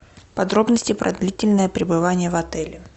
подробности про длительное пребывание в отеле